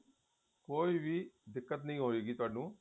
ਕੋਈ ਵੀ ਦਿੱਕਤ ਨੀ ਹਵੇਗੀ ਤੁਹਾਨੂੰ